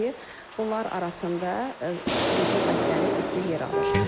bunlar arasında quduzluq xəstəliyi xüsusi yer alır.